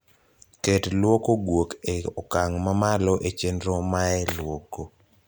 ket luoko guok e okang` ma malo e chenro mae luoko